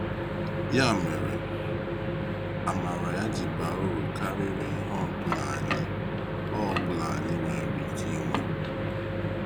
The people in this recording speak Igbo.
Ya mere, amara ya ji baa uru karịrị ihe ọ bụla anyị ọ bụla anyị nwere ike inwe.